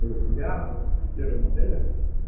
у тебя там первой модели